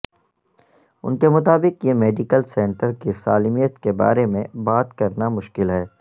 ان کے مطابق یہ میڈیکل سینٹر کی سالمیت کے بارے میں بات کرنا مشکل ہے